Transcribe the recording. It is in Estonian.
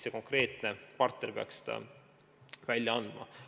See konkreetne partner peaks seda lehte välja andma.